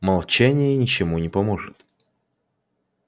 молчание ничему не поможет